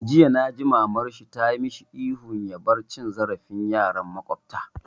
Jiya naji mamar shi tayi masa ihun ya bar cin zarafin yaran makwabta!